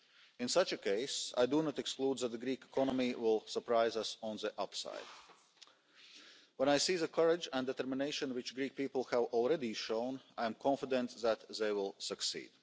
In such a case, I do not exclude the possibility of the Greek economy surprising us on the upside. When I see the courage and determination which the Greek people have already shown, I am confident that they will succeed.